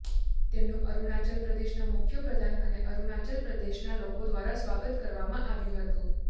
તેમનુ અરુણાચલ પ્રદેશના મુખ્ય પ્રધાન અને અરુણાચલ પ્રદેશના લોકો દ્વારા સ્વાગત કરવામાં આવ્યું હતું